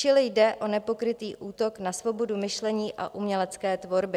Čili jde o nepokrytý útok na svobodu myšlení a umělecké tvorby.